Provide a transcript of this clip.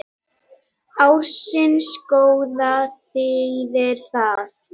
Ársins gróða þýðir það,